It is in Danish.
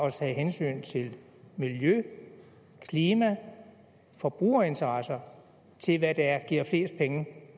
at tage hensyn til miljø klima forbrugerinteresser til hvad der giver flest penge